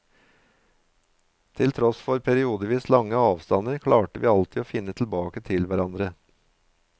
Til tross for periodevis lange avstander klarte vi alltid å finne tilbake til hverandre.